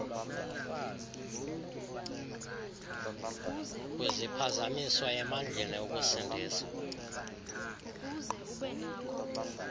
kwiziphazamiso emandleni ukusindisa